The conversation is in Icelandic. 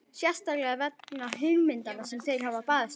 Sérstaklega vegna hugmyndanna sem þeir hafa barist fyrir.